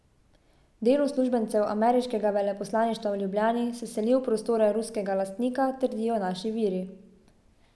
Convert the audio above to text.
Del uslužbencev ameriškega veleposlaništva v Ljubljani se seli v prostore ruskega lastnika, trdijo naši viri.